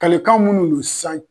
Kalikan munnu ni san.